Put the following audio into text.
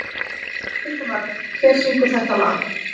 Hildimar, hver syngur þetta lag?